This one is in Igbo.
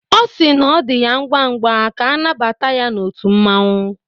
Ọ si na ọ dị ya ngwa ngwa ka anabata ya otú mmanwu